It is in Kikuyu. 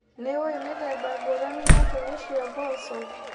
Nĩũĩ mĩthemba ngũrani ya mbegũ cia mboco.